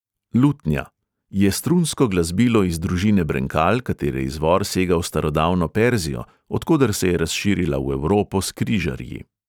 Lutnja: je strunsko glasbilo iz družine brenkal, katere izvor sega v starodavno perzijo, od koder se je razširila v evropo s križarji.